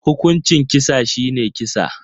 Hukuncin kisa shine kisa